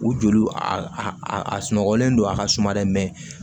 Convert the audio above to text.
U joli a sunɔgɔlen don a ka suma dɛ